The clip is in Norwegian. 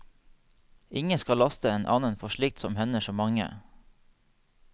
Ingen skal laste en annen for slikt som hender så mange.